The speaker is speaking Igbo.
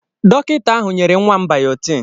Dọkịta ahụ nyere nwa m bayọtin.